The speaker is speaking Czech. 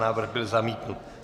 Návrh byl zamítnut.